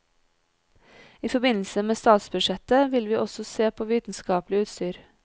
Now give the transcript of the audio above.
I forbindelse med statsbudsjettet vil vi også se på vitenskapelig utstyr.